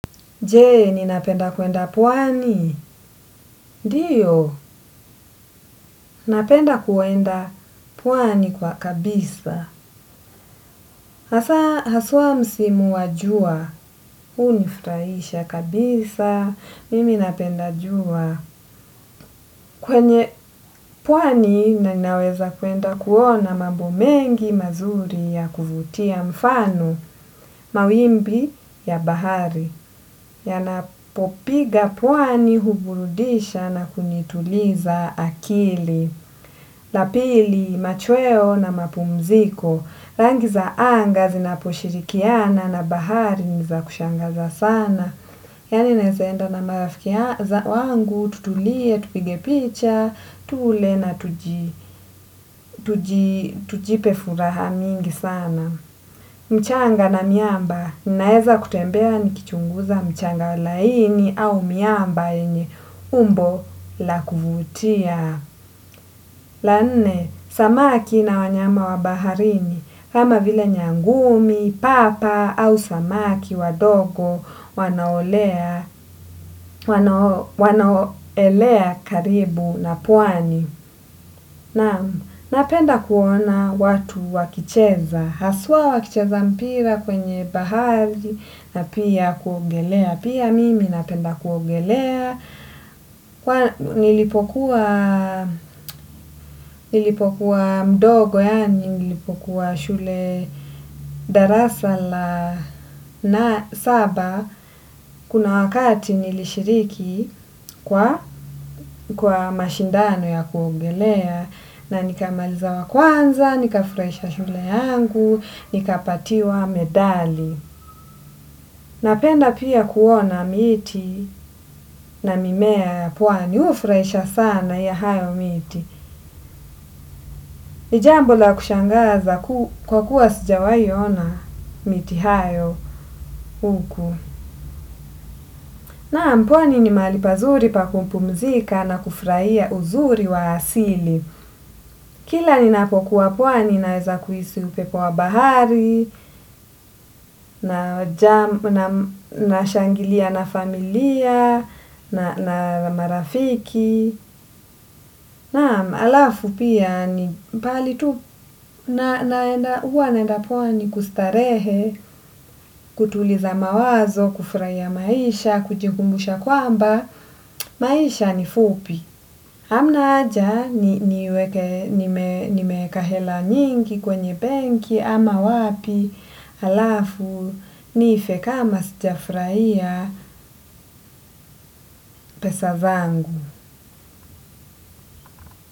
Je, ninapenda kwenda pwani? Ndiyo, ninapenda kwenda pwani kwa kabisa. Asa, haswa msimu wa jua. Hunifurahisha kabisa, mimi ninapenda jua. Kwenye pwani, ninaweza kwenda kuona mambo mengi mazuri ya kuvutia mfano, mawimbi ya bahari. Yanapopiga pwani huburudisha na kunituliza akili. Lapili, machweo na mapumziko. Rangi za anga zinaposhirikiana na bahari ni za kushangaza sana. Yani naweza enda na marafiki wangu tutulie, tupige picha, tule na tujipe furaha mingi sana. Mchanga na miamba, ninaeza kutembea nikichunguza mchanga laini au miamba yenye umbo la kuvutia. La nene, samaki na wanyama wa baharini, kama vile nyangumi, papa, au samaki wadogo, wanao elea karibu na pwani. Na napenda kuona watu wakicheza, haswa wakicheza mpira kwenye bahari na pia kuongelea. Pia mimi napenda kuongelea. Nilipokuwa mdogo yani nilipokuwa shule darasala na saba. Kuna wakati nilishiriki kwa mashindano ya kuogelea. Na nikamaliza wa kwanza, nika furahisha shule yangu, nikapatiwa medali. Napenda pia kuona miti na mimea ya pwani hufuraisha sana ya hayo miti. Ni jambo la kushangaza kwa kuwa sujawahi ona miti hiyo huku. Na mpwani ni mahali pazuri pa kumpumzika na kufraia uzuri wa asili. Kila ni napokuwa pwani naweza kuhisi upepo wa bahari, nashangilia na familia, na marafiki. Naam, alafu pia ni pali tu naenda huwa naenda pwani kustarehe, kutuliza mawazo, kufurahia maisha, kujingumbusha kwamba, maisha ni fupi. Amna haja niweke nimeweka hela nyingi kwenye benki ama wapi, alafu niife kama sijafurahia pesa zangu.